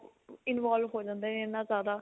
involve ਹੋ ਜਾਂਦੇ ਨੇ ਇੰਨਾ ਜ਼ਿਆਦਾ